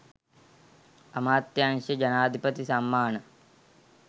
අමාත්‍යාංශ ජනාධිපති සම්මාන